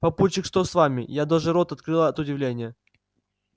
папульчик что с вами я даже рот открыла от удивления